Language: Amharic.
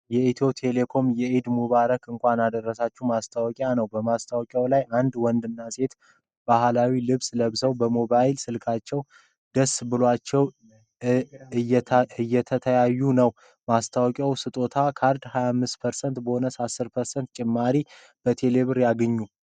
የኢትዮ ቴሌኮም የዒድ ሙባረክ እንኳን አደረሳችሁ ማስታወቂያ ነው። በማስታወቂያው ላይ አንድ ወንድና ሴት ባህላዊ ልብስ ለብሰው በሞባይል ስልካቸው ደስ ብሏቸው እተያዩ ነው ። ማስታወቂያው በስጦታ ካርድ 25% ቦነስና 10% ጭማሪ በቴሌብር ያስገኛል።